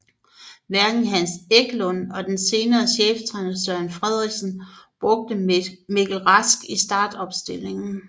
Hverken Hans Eklund og den senere cheftræner Søren Frederiksen brugte Mikkel Rask i startopstillingen